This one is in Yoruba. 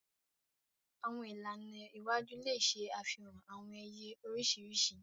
Àwọn ìlànà iwájú le ṣe àfihàn awọn iye oriṣiriṣi.